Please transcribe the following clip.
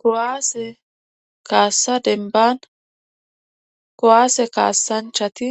Koaase kaassa denban kowaase kaassanchati